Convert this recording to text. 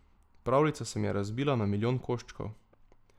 Pravljica se mi je razbila na milijon koščkov.